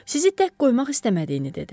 Sizi tək qoymaq istəmədiyini dedi.